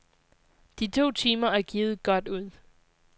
De to timer er givet godt ud.